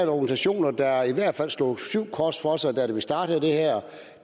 organisationer der i hvert fald slog syv kors for sig da vi startede det her